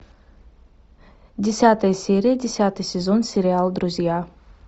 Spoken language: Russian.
десятая серия десятый сезон сериал друзья